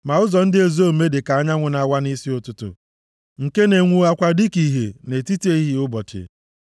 Ma ụzọ ndị ezi omume dị ka anyanwụ na-awa nʼisi ụtụtụ, nke na-enwuwakwa dịka ìhè nʼetiti ehihie ụbọchị.